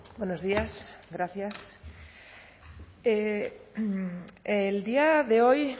buenos días gracias el día de hoy